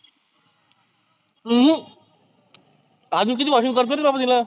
हम्म आजुन किती washing करतो रे तीला.